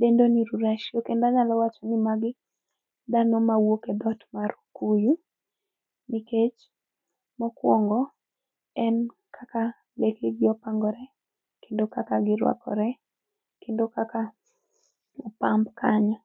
dendo ni ruracio, kendo anyalo wacho ni magi dhano mawuok e dhot mar okuyu, nikech mokwongo en kaka lekegi opangore kendo kaka girwakore kendo kaka opamb kanyo.